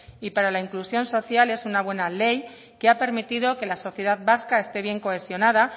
y para la inclusión social es una buena ley que ha permitido que la sociedad vasca esté bien cohesionada